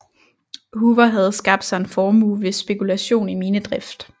Hoover havde skabt sig en formue ved spekulation i minedrift